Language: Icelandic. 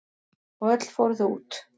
Og öll fóru þau út.